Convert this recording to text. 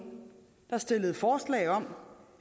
der stillede forslag om